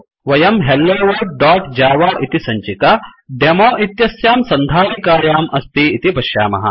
वयं helloworldजव इति सञ्चिका डेमो इत्यस्यां सन्धारिकायाम् अस्ति इति पश्यामः